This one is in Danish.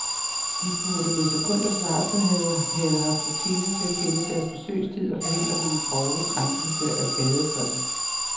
De burde med sekunders varsel have haft rutine til at kende deres besøgelsestid og forhindre den grove krænkelse af gadefreden.